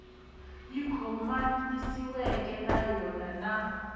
yi khomanisiweke na yona na